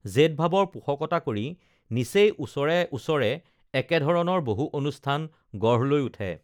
জেদ ভাবৰ পোষকতা কৰি নিচেই ওচৰে ওচৰে একেধৰণৰ বহু অনুষ্ঠান গঢ় লৈ উঠে